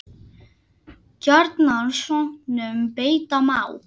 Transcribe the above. Gjarnan sönnum beita má.